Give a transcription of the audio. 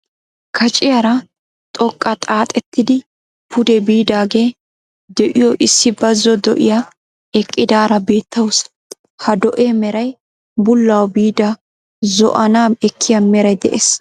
Kaciyaara xooqqa xaaxettidi pude biidagee de'iyo issi bazo do'iyaa eqqidaara beettawusu. Ha do"ee meray bullawu biida zo"anaa ekiyaa meray de'ees.